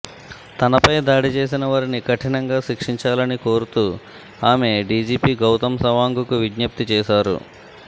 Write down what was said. తనపై దాడి చేసిన వారిని కఠినంగా శిక్షించాలని కోరుతూ ఆమె డీజీపీ గౌతమ్ సవాంగ్ కు విజ్ఞప్తి చేశారు